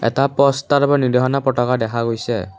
এটা পষ্টাৰ নিদৰ্শনা পতকা দেখা গৈছে।